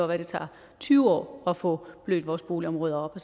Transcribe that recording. være det tager tyve år at få blødt vores boligområder op